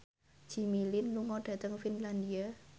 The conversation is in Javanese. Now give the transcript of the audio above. Jimmy Lin lunga dhateng Finlandia